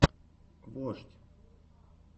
вождь